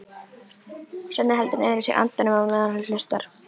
Svenni heldur niðri í sér andanum á meðan hann hlustar.